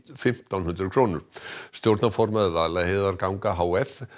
fimmtán hundruð krónur stjórnarformaður Vaðlaheiðarganga h f